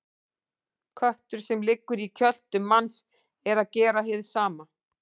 Köttur sem liggur í kjöltu manns er að gera hið sama.